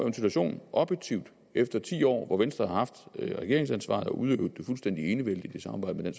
en situation objektivt efter ti år hvor venstre har haft regeringsansvaret og udøvet det fuldstændig enevældigt i samarbejde med